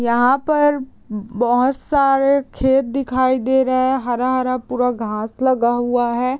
यहाँ पर बहोत सारे खेत दिखाई दे रहा हैं हरा-हरा पूरा घास लगा हुआ है।